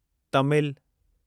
Tamil